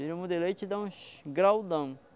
Jirimu de leite dá uns graudão.